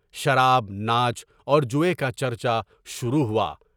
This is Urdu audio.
شراب، ناچ اور جوئے کا چرچا شروع ہوا۔